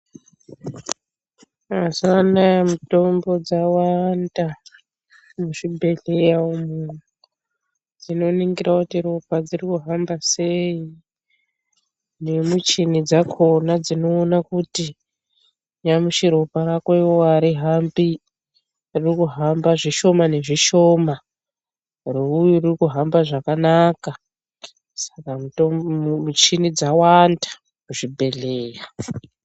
Muzuvanaa mitombo dzawanda muzvibhedhleya umu dzinoningira kuti ropa dzikuhamba sei, nemichini dzakona dzinoona kuti, nyamashi ropa rako iwewe arihambi, ririkuhamba zvishoma nezvishoma, reuyu ririkuhamba zvakanaka. Saka michini dzawanda muzvibhedhleya.